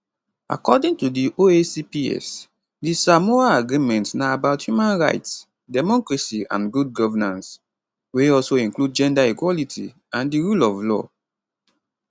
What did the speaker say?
according to di oacps di samoa agreement na about human rights democracy and good governance wey also include gender equality and di rule of law